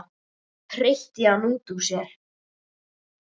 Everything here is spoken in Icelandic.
hreytti hann út úr sér.